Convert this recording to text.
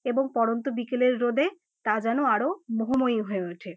এবং পরন্ত বিকেলের রোদে তা যেন আরও মোহময়ি হয়ে ওঠে।